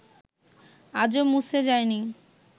আজও মুছে যায়নি